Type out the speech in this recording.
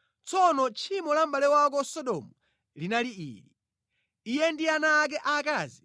“ ‘Tsono tchimo la mʼbale wako Sodomu linali ili: Iye ndi ana ake aakazi